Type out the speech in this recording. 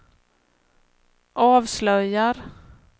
avslöjar